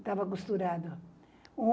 Estava costurado.